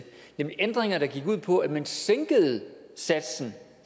nemlig ændringer der gik ud på at man sænkede satsen